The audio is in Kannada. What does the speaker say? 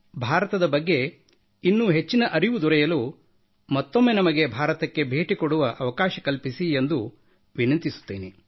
ಭಾರತದ ಬಗ್ಗೆ ಇನ್ನೂ ಹೆಚ್ಚಿನ ಅರಿವು ದೊರೆಯಲು ಮತ್ತೊಮ್ಮೆ ನಮಗೆ ಭಾರತಕ್ಕೆ ಭೇಟಿ ಕೊಡುವ ಅವಕಾಶ ಕಲ್ಪಿಸಿ ಎಂದು ವಿನಂತಿಸುತ್ತೇನೆ